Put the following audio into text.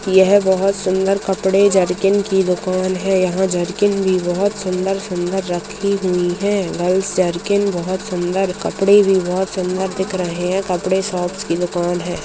यह बहोत सुंदर कपड़े जरकिन की दुकान है। यहाँ जरकिन भी बहोत सुंदर-सुंदर रखी हुई हैं। गर्ल्स जरकिन बहोत सुंदर कपड़े भी बहोत सुंदर दिख रहे हैं। कपड़े शॉप्स की दुकान है।